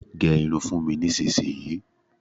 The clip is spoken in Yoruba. Gẹ́ irun fún mi nísìnyi!